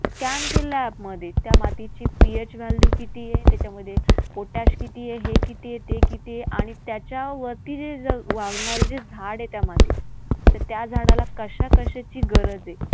Scan केलेल्या app मध्ये त्या मातीची PH value किती आहे? त्याच्यामध्ये potash किती आहे? हे किती आहे? ते किती आहे आणि त्याच्यावरती जे वाढणारं जे झाड आहे त्या मातीत तर त्या झाडाला कशाकशाची गरज आहे